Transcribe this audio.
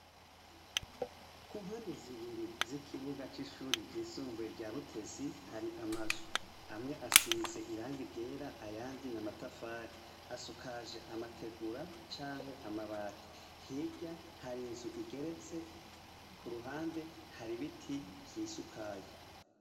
Ku mpande zibiri z'ikibuga c'ishuri ry'isumvuye rya butezi hari amazu amwe asize irangi ryera ayandi namatafari asukaje amategura canke amabati hirya hari nzu igeretse ku ruhande hari ibiti vyisukaye.